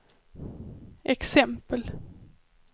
exempel